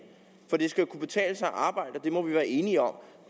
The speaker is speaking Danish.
at det skal kunne betale sig at arbejde for det må vi være enige om